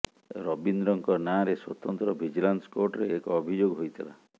ରବିନ୍ଦ୍ରଙ୍କ ନାଁରେ ସ୍ୱତନ୍ତ୍ର ଭିଜିଲାନ୍ସ କୋର୍ଟରେ ଏକ ଅଭିଯୋଗ ହୋଇଥିଲା